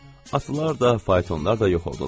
Atlar da, faytonlar da yox oldular.